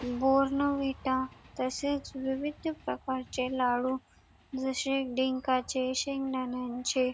बोर्नवीटा तसेच विविध प्रकारचे लाडू जसे डिंकाचे शेंगदण्याचे --